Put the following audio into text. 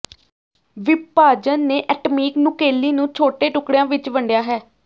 ਵਿਭਾਜਨ ਨੇ atomic nuclei ਨੂੰ ਛੋਟੇ ਟੁਕੜਿਆਂ ਵਿੱਚ ਵੰਡਿਆ ਹੈ